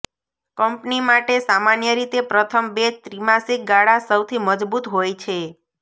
company માટે સામાન્ય રીતે પ્રથમ બે ત્રિમાસિક ગાળા સૌથી મજબૂત હોય છે